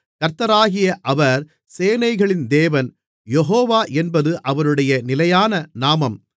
கர்த்தராகிய அவர் சேனைகளின் தேவன் யேகோவா என்பது அவருடைய நிலையான நாமம்